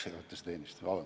Maksejõuetuse teenistus ikka.